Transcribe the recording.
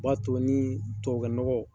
O b'ato ni tubabukɛ nɔgɔ